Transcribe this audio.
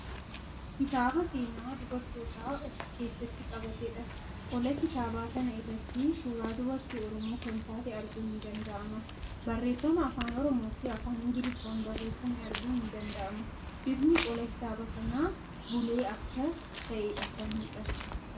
Kitaaabaa seenaa dubartootaa of keessatti qabateedha. Qola kitaabaa kana irratti suuraa dubartii Oromoo kan taate arguun ni danda'ama. Barreeffama Afaan Oromoo fi afaan Ingiliffaan barreeffame arguun ni danda'ama. Bifni qola kitaaba kanaa bulee akka ta'eedha kan mul'atu.